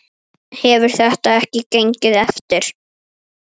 Hefur þetta ekki gengið eftir?